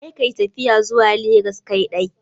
Kar ka yi tafiya zuwa legas kaidai.